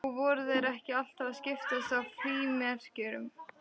Og voru þeir ekki alltaf að skiptast á frímerkjum?